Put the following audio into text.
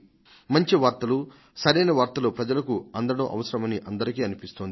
మంచి వార్తలు సరైన వార్తలు ప్రజలకు అందడం అవసరమని ప్రతి ఒక్కరికీ అనిపిస్తోంది